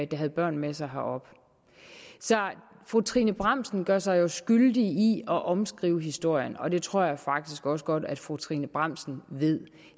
der havde børn med sig herop så fru trine bramsen gør sig jo skyldig i at omskrive historien og det tror jeg faktisk også godt at fru trine bramsen ved